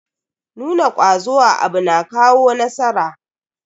Nuna kwazo a abu na kawo nasara.